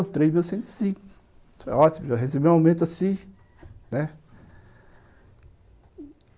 Três mil cento e cinco, ótimo, eu recebi um aumento assim, né?